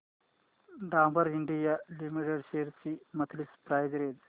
Dabur India limited shares ची monthly price range